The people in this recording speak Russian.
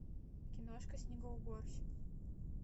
киношка снегоуборщик